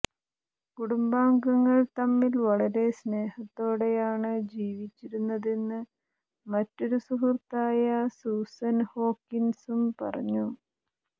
കുടുംബാംഗങ്ങൾ തമ്മിൽ വളരെ സ്നേഹത്തോടെയാണ് ജീവിച്ചിരുന്നതെന്ന് മറ്റൊരു സുഹൃത്തായ സൂസൻ ഹോക്കിൻസും പറഞ്ഞു